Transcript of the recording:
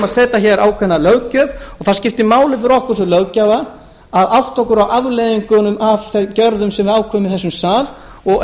við setjum hér ákveðna löggjöf og það skiptir máli fyrir okkur sem löggjafa að átta okkur á afleiðingunum af þeim gjörðum sem við ákveðum í þessum